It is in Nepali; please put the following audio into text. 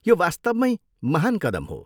यो वास्तवमैँ महान् कदम हो।